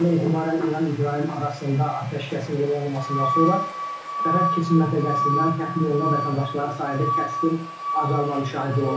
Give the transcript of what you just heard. Dünəndən etibarən İran-İsrail arasında atəşkəsin elan olunmasından sonra sərhəd keçid məntəqəsindən təxliyə olunan vətəndaşların sayında kəskin azalma müşahidə olunub.